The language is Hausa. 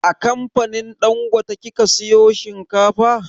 A kamfanin dangote kika sayo shinkafa?